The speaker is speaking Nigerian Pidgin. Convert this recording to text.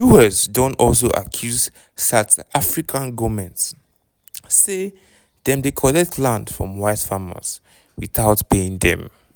us don also accuse south african goment say dem dey collect land from white farmers witout paying dem.